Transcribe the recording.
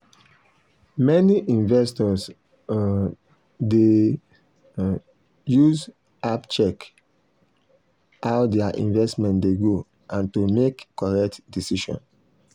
many investors um dey um use app check how their investment dey go and to make correct decision.